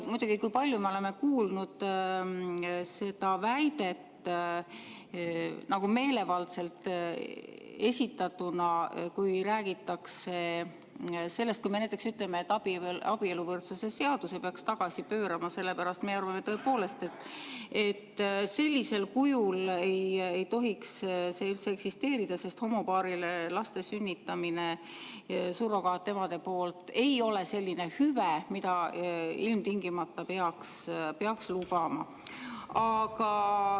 Muidugi, me oleme palju kuulnud seda väidet meelevaldselt esitatuna, kui me näiteks ütleme, et abieluvõrdsuse seaduse peaks tagasi pöörama, sellepärast et me arvame tõepoolest, et sellisel kujul ei tohiks see üldse eksisteerida, sest see, et surrogaatemad homopaaridele lapsi sünnitavad, ei ole selline hüve, mida ilmtingimata peaks lubama.